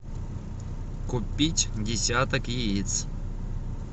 купить десяток яиц